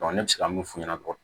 ne bɛ se ka mun f'u ɲɛna